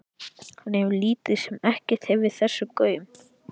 Hann hefur lítið sem ekkert gefið þessu gaum.